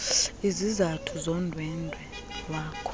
izizathu zondwendwe lwakho